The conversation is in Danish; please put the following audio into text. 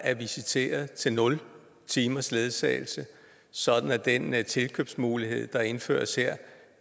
er visiteret til nul timers ledsagelse sådan at den tilkøbsmulighed der indføres her